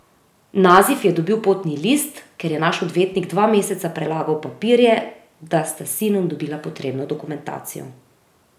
Nazif je dobil potni list, ker je naš odvetnik dva meseca prelagal papirje, da sta s sinom dobila potrebno dokumentacijo.